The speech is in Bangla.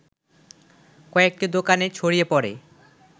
কয়েকটি দোকানে ছড়িয়ে পড়ে